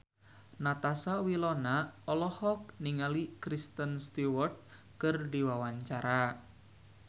Natasha Wilona olohok ningali Kristen Stewart keur diwawancara